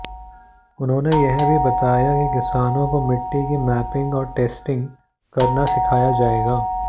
उन्होंने यह भी बताया कि किसानों को मिट्टी की मैपिंग और टेस्टिंग करना सिखाया जाएगा